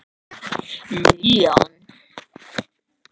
Liljan